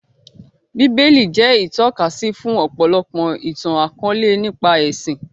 Bíbélì jẹ́ ìtọ́kasí fún ọ̀pọ̀lọpọ̀ ìtàn akọ̀ọ̀lẹ nípa ẹṣin